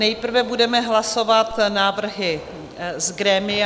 Nejprve budeme hlasovat návrhy z grémia.